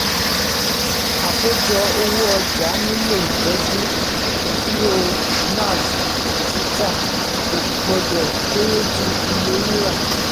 àkójọ owó ọjà nílò ìtọ́jú ìdúró nav títà kò gbọdọ̀ kéré ju iye rírà.